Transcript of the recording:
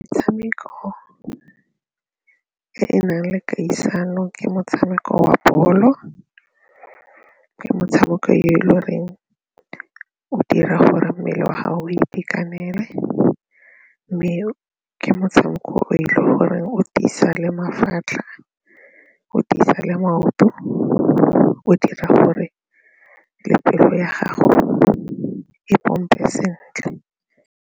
Metshameko e e nang le kgaisano ke motshameko wa bolo, ke motshameko yo e le goreng o dira gore mmele wa gago o itekanele mme ke motshameko o e le gore o tiisa le mafatlha, o tiisa le maoto, o dira gore le pelo ya gago e pompe sentle.